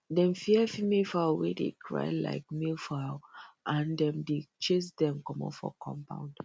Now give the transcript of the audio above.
dem fear female fowl wey dey cry like male fowl and dem dey chase dem comot for compound